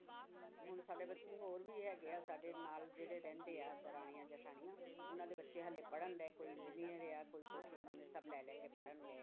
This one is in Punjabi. ਹੁਣ ਸਾਡੇ ਬੱਚੇ ਹੋਰ ਵੀ ਹੈਗੇ ਹੈ ਸਾਡੇ ਨਾਲ ਜਿਹੜੇ ਰਹਿੰਦੇ ਆ ਦਰਾਣੀਆਂ ਜੇਠਾਣੀਆਂ ਉਹਨਾਂ ਦੇ ਬੱਚੇ ਹਾਲੇ ਪੜ੍ਹਣ ਡਿਆ ਕੋਈ engineer ਆ ਕੋਈ ਕੁਛ ਮਨੇ ਸਭ ਲੈ ਲੈ ਕੇ ਪੜ੍ਹਣ ਡਿਆ।